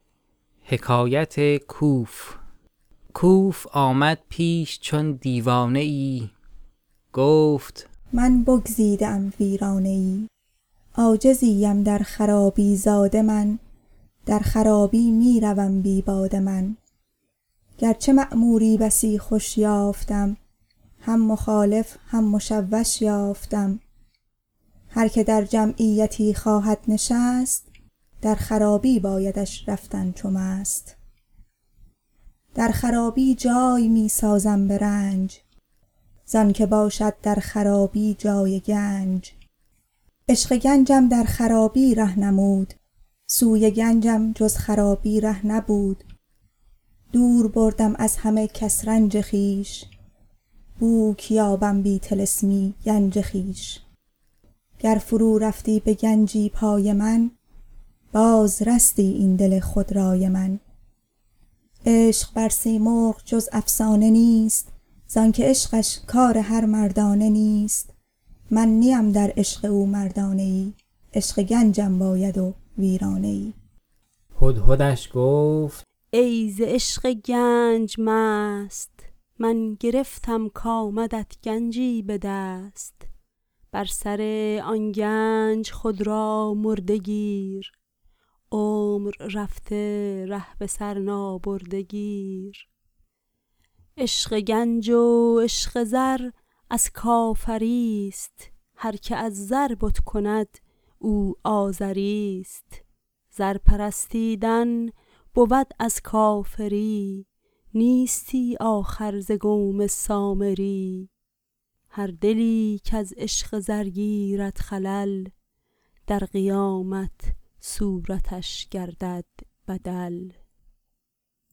کوف آمد پیش چون دیوانه ای گفت من بگزیده ام ویرانه ای عاجزی ام در خرابی زاده من در خرابی می روم بی باده من گر چه معموری بسی خوش یافتم هم مخالف هم مشوش یافتم هرک در جمعیتی خواهد نشست در خرابی بایدش رفتن چو مست در خرابی جای می سازم به رنج زآنک باشد در خرابی جای گنج عشق گنجم در خرابی ره نمود سوی گنجم جز خرابی ره نبود دور بردم از همه کس رنج خویش بوک یابم بی طلسمی گنج خویش گر فرو رفتی به گنجی پای من باز رستی این دل خودرأی من عشق بر سیمرغ جز افسانه نیست زآنک عشقش کار هر مردانه نیست من نیم در عشق او مردانه ای عشق گنجم باید و ویرانه ای هدهدش گفت ای ز عشق گنج مست من گرفتم کآمدت گنجی به دست بر سر آن گنج خود را مرده گیر عمر رفته ره به سر نابرده گیر عشق گنج و عشق زر از کافری ست هرک از زر بت کند او آزری ست زر پرستیدن بود از کافری نیستی آخر ز قوم سامری هر دلی کز عشق زر گیرد خلل در قیامت صورتش گردد بدل